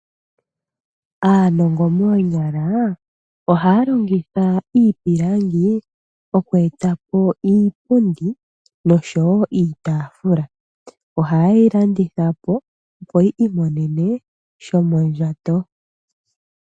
Aanongo moonyala ohaya longitha iipilangi, oku etapo iipundi noshowo iitaafula. Oha yeyi landithapo, opo yi imonene shomondjato.